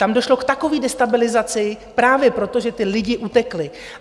Tam došlo k takové destabilizaci - právě proto, že ti lidi utekli.